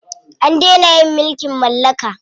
An dena yin mulkin mallaka.